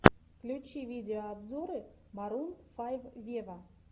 включи видеообзоры марун файв вево